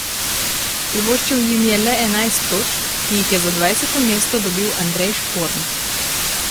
Privoščil jim je le enajst točk, ki jih je za dvajseto mesto dobil Andrej Šporn.